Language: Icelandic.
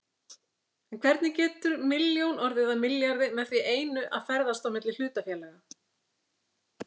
En hvernig getur milljón orðið að milljarði með því einu að ferðast á milli hlutafélaga?